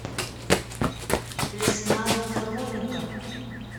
лесная хроника